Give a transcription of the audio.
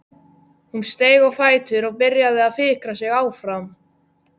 Hún steig á fætur og byrjaði að fikra sig áfram.